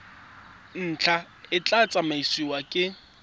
ntlha e tla tsamaisiwa ke